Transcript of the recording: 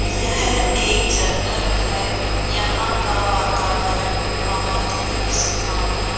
यह एक जंगल है यहां का वातावरण बहोत ही सुहावना --